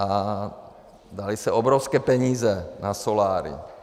A daly se obrovské peníze na soláry.